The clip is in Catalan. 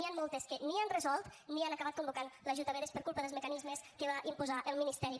n’hi han moltes que ni han resolt ni han acabat convocant l’ajut a vedes per culpa dels mecanismes que va imposar el ministeri